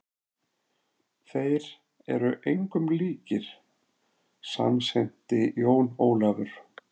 Þeir eru engum líkir, samsinnti Jón Ólafur.